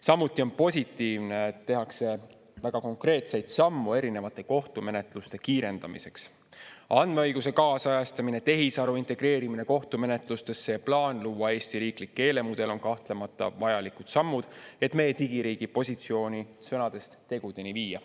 Samuti on positiivne, et tehakse väga konkreetseid samme erinevate kohtumenetluste kiirendamiseks: andmeõiguse kaasajastamine, tehisaru integreerimine kohtumenetlustesse, ja plaan luua Eesti riiklik keelemudel on kahtlemata vajalikud sammud, et meie digiriigi positsiooni sõnadest tegudeni viia.